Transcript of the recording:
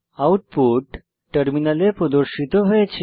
output টার্মিনালে প্রদর্শিত হয়েছে